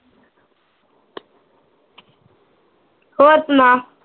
ਹੋਰ ਸੁਣਾ